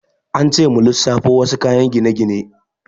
An ce mu lissafo wasu kayan gine-gine.